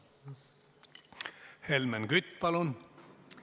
Helmen Kütt, palun!